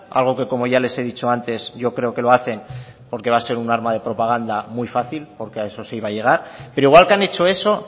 algo que como ya les he dicho antes yo creo que lo hacen porque va a ser un arma de propagando muy fácil porque a eso se iba a llegar pero igual que han hecho eso